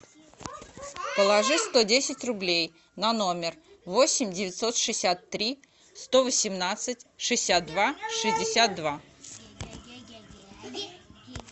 положи сто десять рублей на номер восемь девятьсот шестьдесят три сто восемнадцать шестьдесят два шестьдесят два